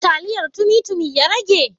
Taliyar tumi tumi ya rage?